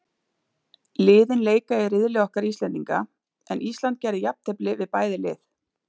Liðin leika í riðli okkar Íslendinga, en Ísland gerði jafntefli við bæði lið.